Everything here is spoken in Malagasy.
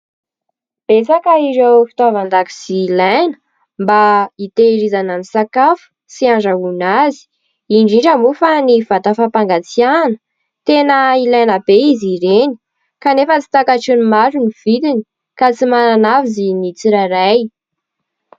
Betsaka ireo fitaovan-dakozia ilaina mba hitehirizana ny sakafo sy handrahoana azy, indrindra moa fa ny vata fampangatsiahana tena ilaina be izy ireny kanefa tsy takatry ny maro ny vidiny ka tsy manana azy ny tsirairay.